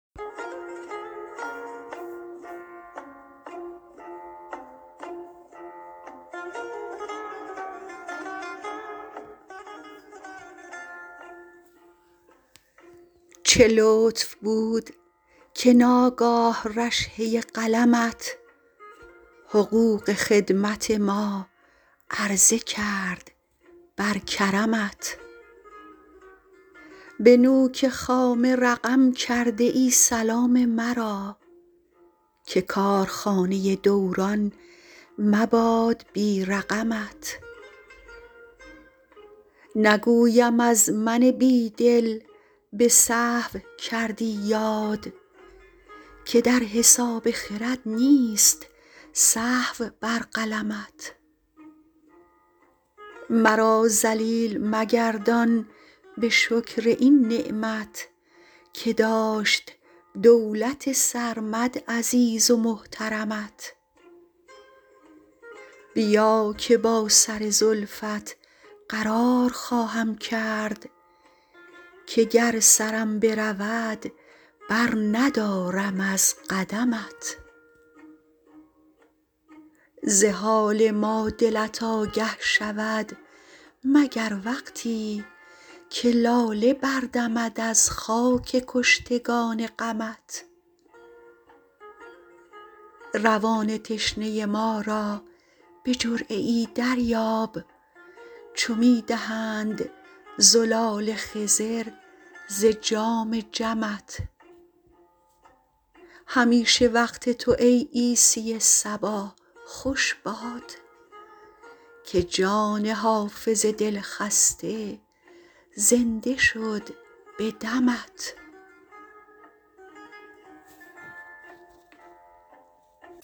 چه لطف بود که ناگاه رشحه قلمت حقوق خدمت ما عرضه کرد بر کرمت به نوک خامه رقم کرده ای سلام مرا که کارخانه دوران مباد بی رقمت نگویم از من بی دل به سهو کردی یاد که در حساب خرد نیست سهو بر قلمت مرا ذلیل مگردان به شکر این نعمت که داشت دولت سرمد عزیز و محترمت بیا که با سر زلفت قرار خواهم کرد که گر سرم برود برندارم از قدمت ز حال ما دلت آگه شود مگر وقتی که لاله بردمد از خاک کشتگان غمت روان تشنه ما را به جرعه ای دریاب چو می دهند زلال خضر ز جام جمت همیشه وقت تو ای عیسی صبا خوش باد که جان حافظ دلخسته زنده شد به دمت